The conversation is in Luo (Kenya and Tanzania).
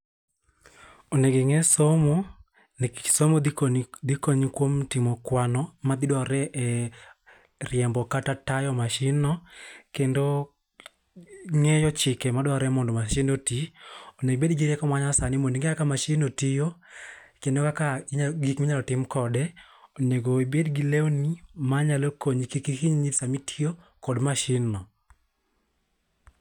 Onego ing'e somo nikech somo dhi konyi kuom timo kwano madhi dwarre e riembo kata tayo mashindno kendo ng'eyo chike madwarore mondo mashin oti. Onego ibed kod rieko ma nyasani mondo ing'e kaka masindno tiyo, kendo kaka gik mnyalo tim kode. Onego ibed gi lewni manyalo konyi kik ihinyri sama itiyo kod mashin no.